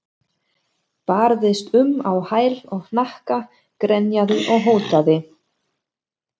Barðist um á hæl og hnakka, grenjaði og hótaði.